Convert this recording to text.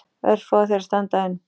Örfáir þeirra standa enn.